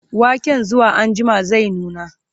waken zuwa anjima zai nuna